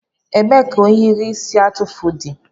Ebee ka ohiri isi atụfu dị?